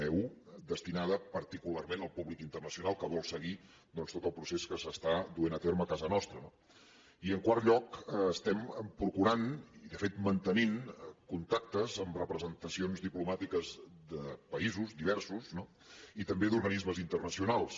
eudestinada particularment al públic internacional que vol seguir doncs tot el procés que s’està duent a terme a casa nostra no i en quart lloc estem procurant i de fet mantenint contactes amb representacions diplomàtiques de paï sos diversos no i també d’organismes internacionals